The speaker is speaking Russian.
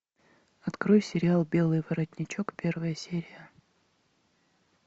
открой сериал белый воротничок первая серия